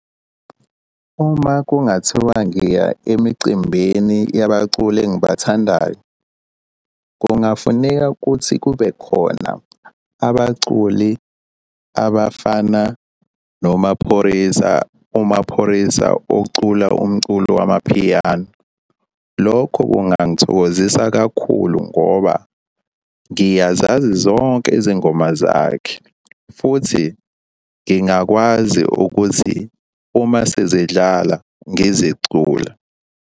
Uma kungathiwa ngiya emicimbini yabaculi engibathandayo, kungafuneka kuthi kube khona abaculi abafana noMaphorisa. UMaphorisa ocula umculo wamaphiyano. Lokho kungangithokozisa kakhulu ngoba ngiyazazi zonke izingoma zakhe, futhi ngingakwazi ukuthi uma sezidlala ngizicula.